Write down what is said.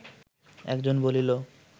একজন বলিল